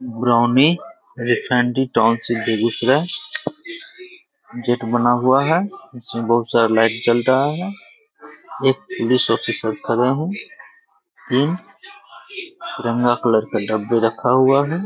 Brownie Begusarai gate बना हुआ है जिसमे बहुत सारा लाइट जल रहा है एक पुलिस ऑफिसर खड़े हैं तीन तिरंगा कलर का डब्बे रखा हुआ है।